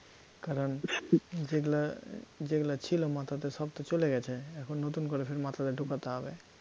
কারণ যেগুলা যেগুলা ছিল মাথাতে সব তো চলে গেছে, এখন নতুন করে ফের মাথাতে ঢোকাতে হবে